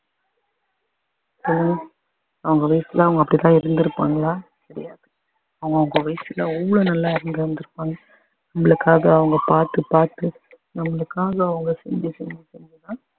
அவங்க வயசுல அவங்க அப்படி தான் இருந்துருப்பாங்களா தெரியாது அவங்க அவங்க வயசுல அவ்வளோ நல்லா இருந்துருப்பாங்க நம்மளுக்காக அவங்க பாத்து பாத்து நம்மளுக்காக அவங்க செஞ்சு செஞ்சு செஞ்சு தான்